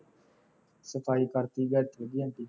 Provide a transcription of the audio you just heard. ਸਫਾਈ ਕਰਤੀ ਅੱਜ ਵਧੀਆ ਜਿਹੀ